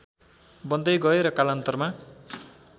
बन्दै गए र कालान्तरमा